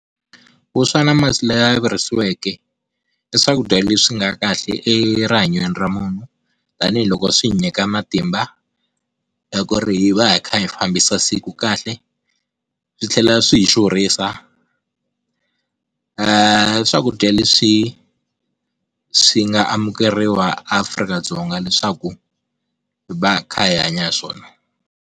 Vuswa na masi lama virisiweke i swakudya leswi nga kahle erihanyweni ra munhu, tanihiloko swi hi nyika matimba ku ri hi va hi kha hi fambisa siku kahle. Swi tlhela swi hi xurhisa eeh, i swakudya leswi swi nga amukeriwa a Afrika-Dzonga leswaku hi va kha hi hanya hiswona.